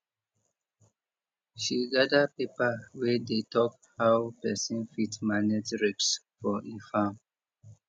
she gather paper wey dey talk how pesin fit manage risk for e farm